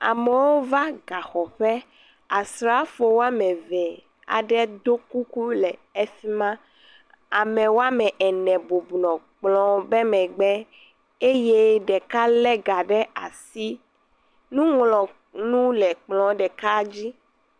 Amewo va ga xɔ ƒe, asrafo womeve aɖe do kuku le efima. Ame wome ene bubɔnɔ kplɔ̃be megbe eye ɖeka le ga ɖe asi. Nuŋlɔnu le kplɔ̃ɖeka dzi.